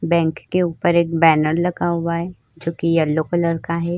Bank के ऊपर एक बैनर लगा हुआ है जोकि येल्लो कलर का है।